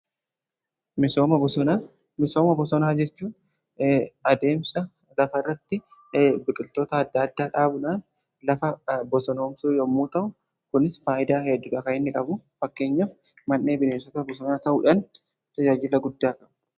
Misooma bosonaa jechuun adeemsa lafa irratti biqiltoota adda addaa dhaabudhaan lafa bosonoomsu yommuu ta'u, kunis faayidaa heddudha kan inni qabu. Fakkeenyaf man'ee bineensota bosonaa ta'uudhan tajaajila guddaa qabu.